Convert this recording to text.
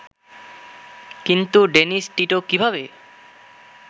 কিন্তু Dennis Tito কীভাবে